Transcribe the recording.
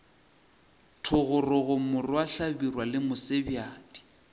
thogorogo morwa hlabirwa le mosebjadi